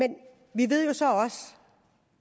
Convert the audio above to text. vi ved så også